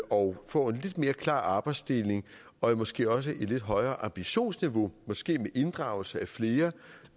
og får en lidt mere klar arbejdsdeling og måske også et lidt højere ambitionsniveau måske med inddragelse af flere